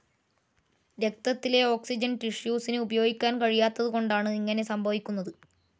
രക്തത്തിലെ ഓക്സിജൻ ടിഷ്യുസിന് ഉപയോഗിക്കാൻ കഴിയാത്തതുകൊണ്ടാണ് ഇങ്ങനെ സംഭവിക്കുന്നത്.